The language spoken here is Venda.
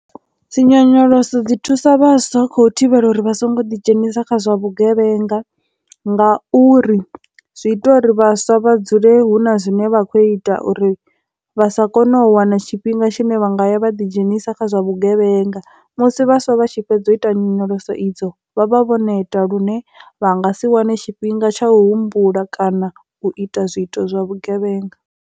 Dzinyonyoloso dzi thusa vhaswa kho thivhela uri vha songo ḓi dzhenisa kha zwa vhugevhenga ngauri zwi ita uri vhaswa vha dzule hu na zwine vha kho ita uri vha sa kone u wana tshithu tshifhinga tshine vha nga ya vha ḓi dzhenisa kha zwa vhugevhenga, musi vhaswa vha tshi fhedza u ita nyonyolosa idzo vhavha vho neta lune vha nga si wane tshifhinga tsha humbula kana u ita zwiito zwa vhugevhenga.